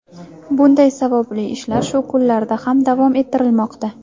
Bunday savobli ishlar shu kunlarda ham davom ettirilmoqda.